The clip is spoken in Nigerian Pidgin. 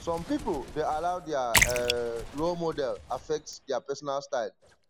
some pipo dey allow their um role model affect their pesinal style